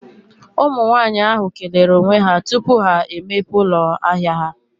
Ụmụ nwaanyị ahụ kelere onwe ha tupu ha emepe ụlọ ahia ha.